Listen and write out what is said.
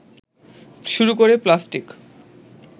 শুরু করে প্লাস্টিক